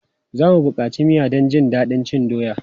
Za mu buƙaci miya don jin daɗin cin doya.